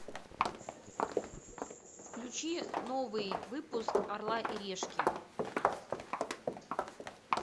включи новый выпуск орла и решки